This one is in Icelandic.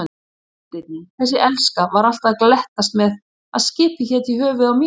Kafteinninn, þessi elska, var alltaf að glettast með að skipið héti í höfuðið á mér.